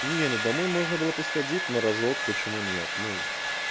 нет ну домой можно было бы сходить на разок почему нет ну